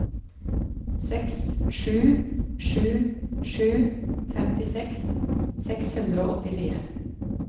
seks sju sju sju femtiseks seks hundre og åttifire